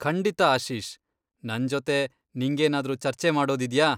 ಖಂಡಿತ ಆಶೀಶ್, ನನ್ ಜೊತೆ ನಿಂಗೇನಾದ್ರೂ ಚರ್ಚೆ ಮಾಡೋದಿದ್ಯಾ?